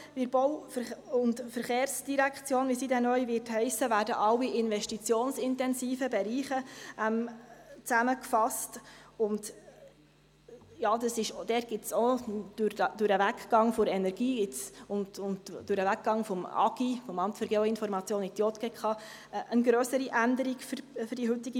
In der Bau- und Verkehrsdirektion (BVD), wie sie neu heissen wird, werden alle investitionsintensiven Bereiche zusammengefasst, und eine grössere Änderung für die heutige BVE gibt es auch durch den Weggang der Energie und des AGI in die JGK.